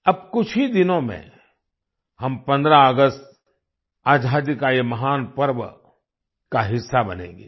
अब कुछ ही दिनों में हम 15 ऑगस्ट आजादी का ये महान पर्व का हिस्सा बनेंगे